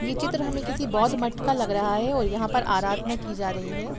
यह चित्र हमें किसी बौद्ध मठ का लग रहा है और यहां पर आराधना की जा रही है।